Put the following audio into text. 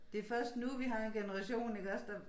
Det først nu vi har en generation iggås der